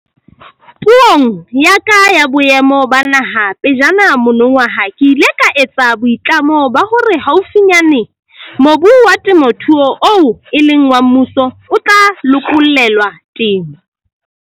Puong ya ka ya Boemo ba Naha pejana monongwaha ke ile ka etsa boitlamo ba hore haufinyane mobu wa temothuo oo e leng wa mmuso o tla lokollelwa temo.